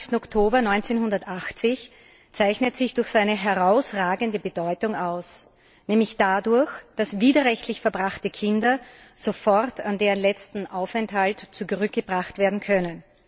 25. Oktober 1980 zeichnet sich durch seine herausragende Bedeutung aus, nämlich dadurch, dass widerrechtlich verbrachte Kinder sofort an deren letzten Aufenthaltsort zurückgebracht werden können.